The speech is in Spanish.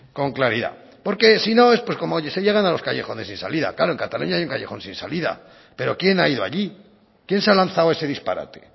con claridad porque si no pues como hoy se llegan a los callejones sin salida claro en cataluña hay un callejón sin salida pero quién ha ido allí quién ha lanzado ese disparate